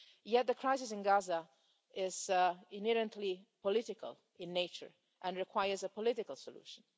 Yet the crisis in Gaza is inherently political in nature and requires a political solution.